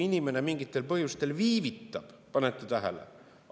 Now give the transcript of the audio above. Inimene mingitel põhjustel viivitab – panete tähele?